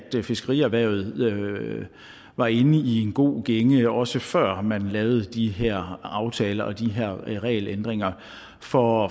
fiskerierhvervet var inde i en god gænge også før man lavede de her aftaler og de her regelændringer for